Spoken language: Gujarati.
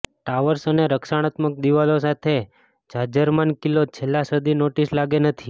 ટાવર્સ અને રક્ષણાત્મક દિવાલો સાથે જાજરમાન કિલ્લો છેલ્લા સદી નોટિસ લાગે ન હતી